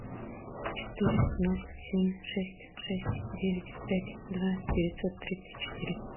четыре ноль семь шесть шесть девять пять два девятьсот тридцать четыре